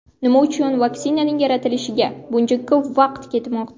Nima uchun vaksinaning yaratilishiga buncha ko‘p vaqt ketmoqda?